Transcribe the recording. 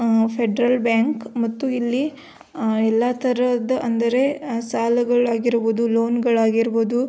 ಉಮ್ಮ್ federal bank ಮತ್ತು ಇಲ್ಲಿ ಎಲ್ಲ ತರಹದ ಅಂದರೆ ಅ ಸಾಲಗಳು ಆಗಿರಬಹುದು ಲೋನ್ ಗಳು ಆಗಿರಬಹುದು --